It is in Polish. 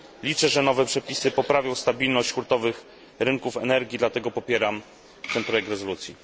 Liczę, że nowe przepisy poprawią stabilność hurtowych rynków energii, dlatego popieram ten projekt rezolucji.